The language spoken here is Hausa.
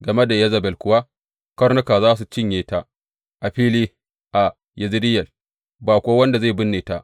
Game da Yezebel kuwa, karnuka za su cinye ta a fili a Yezireyel, ba kuwa wanda zai binne ta.’